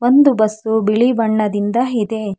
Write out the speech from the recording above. ಒಂದು ಬಸ್ಸು ಬಿಳಿ ಬಣ್ಣದಿಂದ ಇದೆ.